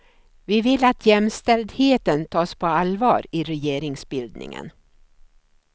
Vi vill att jämställdheten tas på allvar i regeringsbildningen.